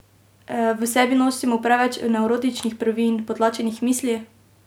V sebi nosimo preveč nevrotičnih prvin, potlačenih misli?